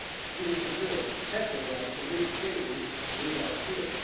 Jews in Europe have the right to live freely without fear.